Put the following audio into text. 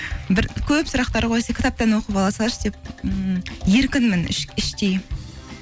бір көп сұрақтар қойса кітаптан оқып ала салшы деп ммм еркінмін іштей